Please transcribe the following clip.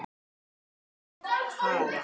En hvað með Haga?